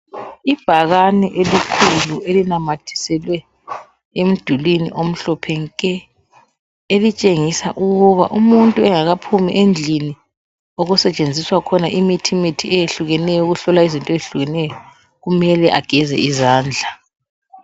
Ibhakane elikhulu elinamathiselwe emdulwini omhlophe nke elitsengisa ukuba umuntu engakaphumi endlini okusetsenziswa khona imithi mithi eyehlukeneyo ukuhlolwa izinto ezehlukeneyo kumele ageze izandla.